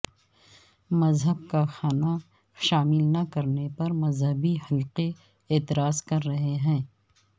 مذہب کا خانہ شامل نہ کرنے پر مذہبی حلقے اعتراض کر رہے ہیں